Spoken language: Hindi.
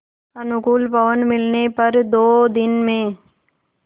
अनुकूल पवन मिलने पर दो दिन में